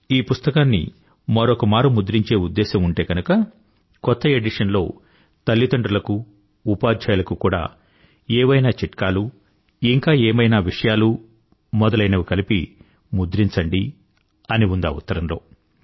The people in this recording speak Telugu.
ఈ పుస్తకాన్ని మరొకమారు ముద్రించే ఉద్దేశం ఉంటే గనుక కొత్త ఎడిషన్ లో తల్లిదండ్రుల కు ఉపాధ్యాయులకు కూడా ఏవైనా చిట్కాలు ఇంక వేరేమైనా విషయాలతో మొదలైనవి కలిపి ముద్రించండి అని ఉందా ఉత్తరంలో